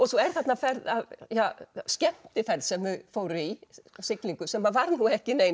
svo er þarna skemmtiferð sem þau fóru í siglingu sem var nú ekki nein